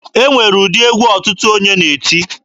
E nwere ụdị egwu otu onye na-eti.